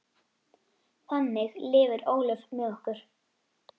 Þannig lifir Ólöf með okkur.